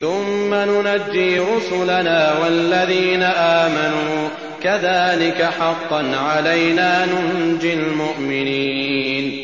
ثُمَّ نُنَجِّي رُسُلَنَا وَالَّذِينَ آمَنُوا ۚ كَذَٰلِكَ حَقًّا عَلَيْنَا نُنجِ الْمُؤْمِنِينَ